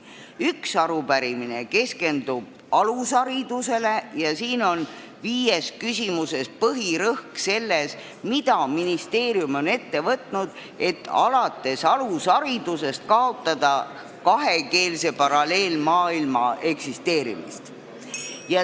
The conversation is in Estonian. Üks arupärimine keskendub alusharidusele: viies küsimuses on põhirõhk sellel, mida on ministeerium ette võtnud, et alates alusharidusest kaotada kakskeelse paralleelmaailma eksisteerimine.